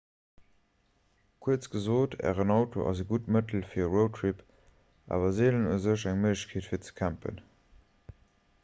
kuerz gesot ären auto ass e gutt mëttel fir e roadtrip awer seelen u sech eng méiglechkeet fir ze campen